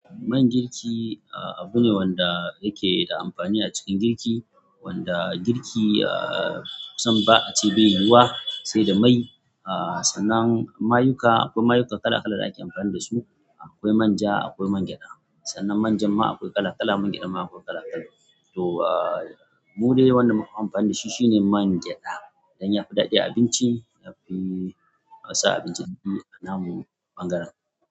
Man girki, ah, abu ne wanda yake da amfani a cikin girki wanda girki, ah, kusan ba a ce bai yiwuwa sai da mai. Ah, sannan mayuka akwai mayuka kala kala da ake amfani da su. Akwai man ja akwai man gyaɗa. Sannan manja ma akwai kala kala, mangyaɗa ma akwai kala kala. To, ah, mu dai wanda muka fi amfani da shi shine man gyaɗa. Dan ya fi daɗa abinci yafi sa abinci da daɗi a namu ɓangaren.